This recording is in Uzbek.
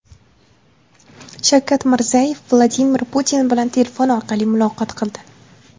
Shavkat Mirziyoyev Vladimir Putin bilan telefon orqali muloqot qildi .